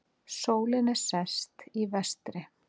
Sólin er sest, í vestri.